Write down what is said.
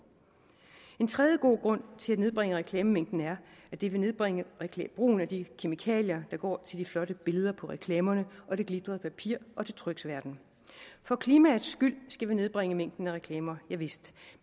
en tredje god grund til at nedbringe reklamemængden er at det vil nedbringe brugen af de kemikalier der går til de flotte billeder på reklamerne og det glittede papir og til tryksværten for klimaets skyld skal vi nedbringe mængden af reklamer javist